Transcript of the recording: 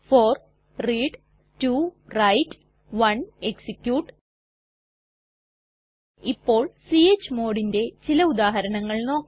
4 read 2 write 1 execute ഇപ്പോൾ chmodന്റെ ചില ഉദാഹരണങ്ങൾ നോക്കാം